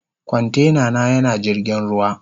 Kwantena na yana jirgin ruwa.